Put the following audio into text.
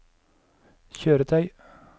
kjøretøy